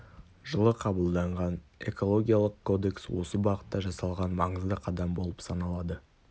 жылы қабылданған экологиялық кодекс осы бағытта жасалған маңызды қадам болып саналады